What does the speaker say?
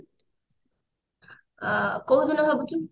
ଅ କୋଉଦିନ ଭାବୁଛୁ